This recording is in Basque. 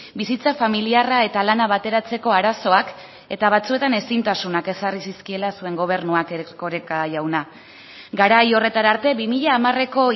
bizitza familiarra eta lana bateratzeko arazoak eta batzuetan ezintasunak ezarri zizkiela zuen gobernuak erkoreka jauna garai horretara arte bi mila hamareko